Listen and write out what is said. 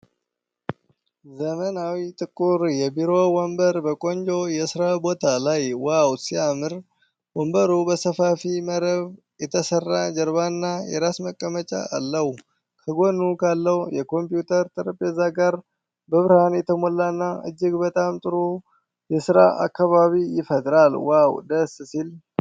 ዘመናዊ ጥቁር የቢሮ ወንበር በቆንጆ የስራ ቦታ ላይ ዋው ሲያምር! ወንበሩ በሰፋፊ መረብ የተሰራ ጀርባና የራስ መቀመጫ አለው። ከጎኑ ካለው የኮምፒውተር ጠረጴዛ ጋር በብርሃን የተሞላና እጅግ በጣም ጥሩ የስራ ከባቢ ይፈጥራል። ዋው ደስ ሲል!